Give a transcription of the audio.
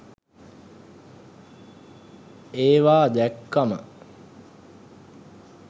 ඒවා දැක්කම